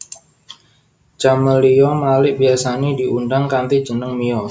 Camelia Malik biyasané diundang kanthi jeneng Mia